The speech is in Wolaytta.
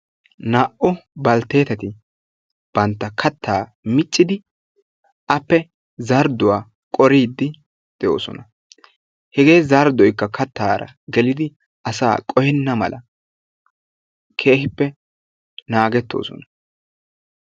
Naa"u baltteetati bantta kattaa miccidi appe zardduwa qoriiddi de"oosona. Hegee zarddoykka kattaara gelidi asaa qohenna mala keehippe naagettoosona.